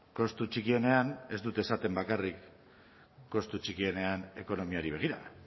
kostu txikienean ez dut esaten bakarrik kostu txikienean ekonomiari begira